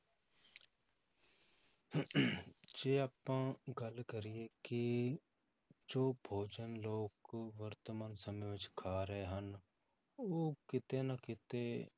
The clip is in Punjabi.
ਜੇ ਆਪਾਂ ਗੱਲ ਕਰੀਏ ਕਿ ਜੋ ਭੋਜਨ ਲੋਕ ਵਰਤਮਾਨ ਸਮੇਂ ਵਿੱਚ ਖਾ ਰਹੇ ਹਨ, ਉਹ ਕਿਤੇ ਨਾ ਕਿਤੇ